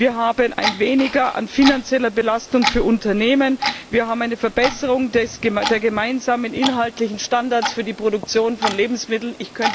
Wir haben ein Weniger an finanzieller Belastung für Unternehmen. Wir haben eine Verbesserung der gemeinsamen inhaltlichen Standards für die Produktion von Lebensmitteln.